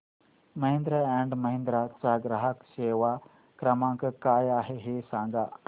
Mahindra and Mahindra चा ग्राहक सेवा क्रमांक काय आहे हे सांगा